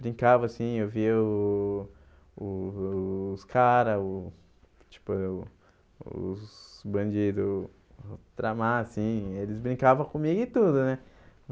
Brincava assim, eu via o o os caras o , tipo, eu os bandidos tramar assim, eles brincavam comigo e tudo, né?